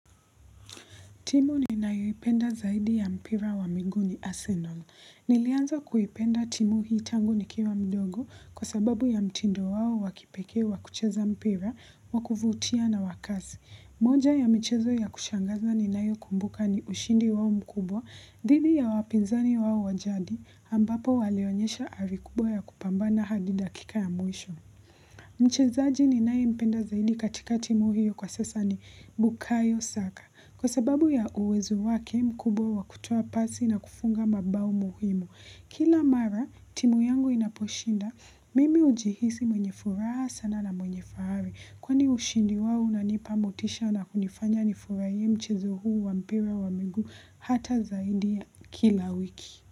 Timu ninayoipenda zaidi ya mpira wa miguu ni Arsenal. Nilianza kuipenda timu hii tangu nikiwa mdogo kwa sababu ya mtindo wao wa kipekee wa kucheza mpira wa kuvutia na wa kasi. Moja ya mchezo ya kushangaza ninayokumbuka ni ushindi wao mkubwa, dhidi ya wapinzani wao wa jadi, ambapo walionyesha ari kubwa ya kupambana hadi dakika ya mwisho. Mchezaji ninayempenda zaidi katika timu hiyo kwa sasa ni bukayo saka kwa sababu ya uwezo wake mkubwa wa kutoa pasi na kufunga mabao muhimu. Kila mara timu yangu inaposhinda mimi hujihisi mwenye furaha sana na mwenye fahari kwani ushindi wao unanipa motisha na kunifanya nifurahie mchezo huu wa mpira wa miguu hata zaidi ya kila wiki.